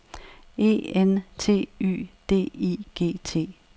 E N T Y D I G T